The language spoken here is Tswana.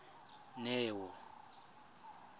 neo